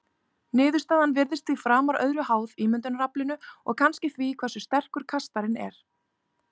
Niðurstaðan virðist því framar öðru háð ímyndunaraflinu og kannski því hversu sterkur kastarinn er.